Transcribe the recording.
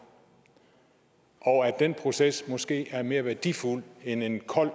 og at den proces måske er mere værdifuld end en kold